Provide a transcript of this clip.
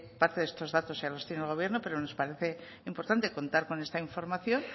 parte de estos datos ya los tiene el gobierno pero nos parece importante contar con esta información